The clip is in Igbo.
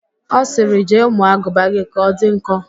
Ọ sịrị, jee mụọ aguba gị ka ọ dị nkọ!